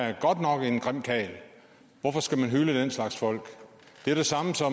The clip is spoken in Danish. er godt nok en grim karl hvorfor skal man hylde den slags folk altså så